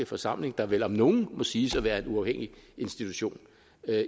forsamling der vel om nogen må siges at være en uafhængig institution